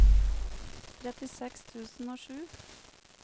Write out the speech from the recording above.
trettiseks tusen og sju